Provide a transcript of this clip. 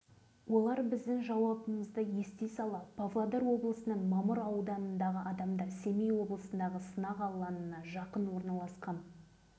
бізді бес-алты профессор бір бөлмеде қабылдады да алдымен қай жерден келгенімізді сұрады